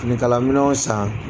Fininkalanminnɛnw san